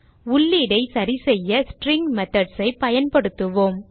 உள்ளீடை சரிசெய்ய string methods ஐ பயன்படுத்துவோம்